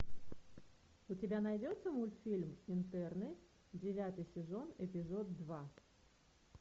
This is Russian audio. у тебя найдется мультфильм интерны девятый сезон эпизод два